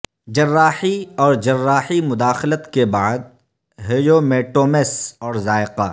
جراحی اور جراحی مداخلت کے بعد ہیومیٹومس اور ذائقہ